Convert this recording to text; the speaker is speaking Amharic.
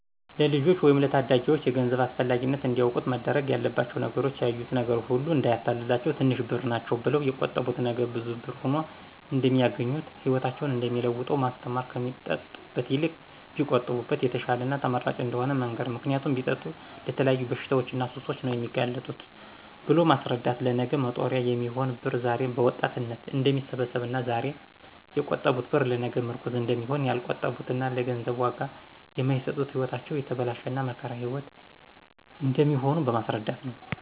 ለልጆች ወይም ለታዳጊዎች የገንዘብ አስፈላጊነት እንዲያውቁት መደረግ ያለባቸው ነገሮች ያዩት ነገር ሁሉ እዳያታልላቸው ትንሽ ብር ናቸው ብለው የቆጠቡት ነገ ብዙ ብር ሁኖ እደሚያገኙት ህይወታቸውን እደሚለውጠው ማስተማር ከሚጠጡበት ይልቅ ቢቆጥቡበት የተሻለና ተመራጭ እደሆነ መንገር ምክንያቱም ቢጠጡ ለተለያዩ በሽታዎችና ሱሶች ነው የሚጋለጡት ብሎ ማስረዳት ለነገ መጦሪያ የሚሆን ብር ዛሬ በወጣትነት እደሚሰበሰብና ዛሬ የቆጠቡት ብር ለነገ ምርኩዝ እደሚሆን ያልቆጠቡትና ለገንዘብ ዋጋ የማይሰጡት ህይወታቸው የተበላሸና የመከራ ህይዎት እደሚኖሩ በማስረዳት ነው።